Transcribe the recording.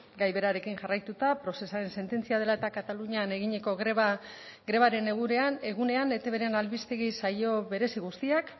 gai berarekin jarraituta procesaren sententzia dela eta katalunian eginiko grebaren egunean etbren albistegi saio berezi guztiak